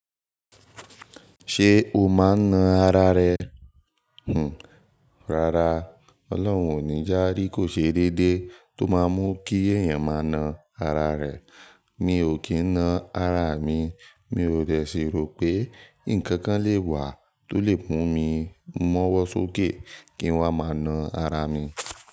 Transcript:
Ṣé o máa ń na ara rẹ? Hmm. Rárá, Ọlọ́run ò ní já̀ rí kò ṣe déédéé tó máa mú kí èèyàn máa na ara rẹ̀. Mi ò kì í na ara mi, mi ò dẹ̀ sí ro pé ǹkan kan lè wà tó lè mu mi mọ́wọ́ sókè kí n wá máa na ara mi.